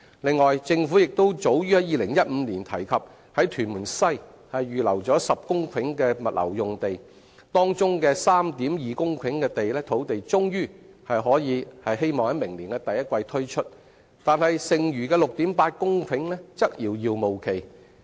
此外，政府亦早於2015年提及在屯門西預留10公頃物流用地，當中的 3.2 公頃的土地終於可望於明年第一季推出，但剩餘的 6.8 公頃的推出時間則遙遙無期。